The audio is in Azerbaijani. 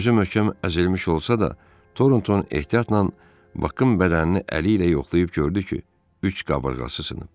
Özü möhkəm əzilmiş olsa da, Toronton ehtiyatla Bakın bədənini əli ilə yoxlayıb gördü ki, üç qabırğası sınıb.